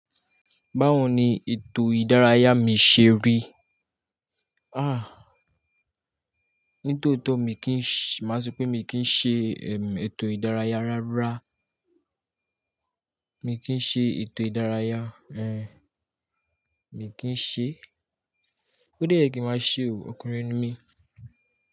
Báwo ni ètò ìdárayá mi ṣe rí? Ah, nítòótó mi kì í, màá sọ pé mi kì í ṣe, ehm, ètò ìdárayá rárá. Mi kì í ṣe ètò ìdárayá, ẹ. Mi kì í ṣe. Ó dé ye ki n màá ṣe o òkúnrin ni mí?